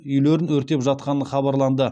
үйлерін өртеп жатқаны хабарланды